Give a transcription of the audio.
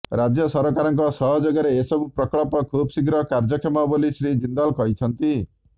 ରାଜ୍ୟ ସରକାରଙ୍କ ସହଯୋଗରେ ଏସବୁ ପ୍ରକଳ୍ପ ଖୁବଶୀଘ୍ର କାର୍ଯ୍ୟକ୍ଷମ ବୋଲି ଶ୍ରୀ ଜିନ୍ଦଲ କହିଛନ୍ତି